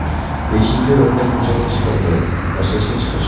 Beshinchi o‘rinda ko‘chaga chiqindi tashlashga chiqish.